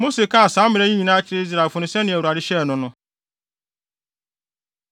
Mose kaa saa mmara yi nyinaa kyerɛɛ Israelfo no sɛnea Awurade hyɛɛ no no.